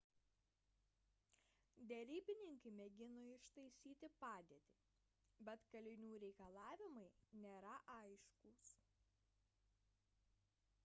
derybininkai mėgino ištaisyti padėtį bet kalinių reikalavimai nėra aiškūs